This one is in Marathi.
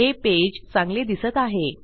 हे पेज चांगले दिसत आहे